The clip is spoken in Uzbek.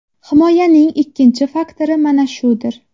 Himoyaning ikkinchi faktori mana shudir.